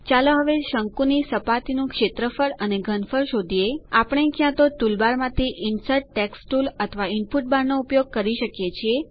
ચાલો હવે શંકુની સપાટીનું ક્ષેત્રફળ અને ઘનફળ શોધીએ આપણે ક્યાંતો ટુલબારમાંથી ઇન્સર્ટ ટેક્સ્ટ ટુલ અથવા ઇનપુટ બાર નો ઉપયોગ કરી શકીએ છીએ